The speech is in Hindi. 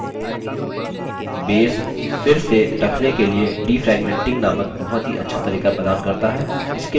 base फिर से रखने के लिए defragmenting नामक बहुत ही अच्छा तरीका प्रदान करता है